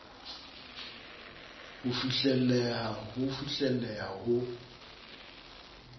ho fihlelleha ho fihlelleha ho